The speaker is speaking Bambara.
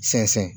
Sɛnsɛn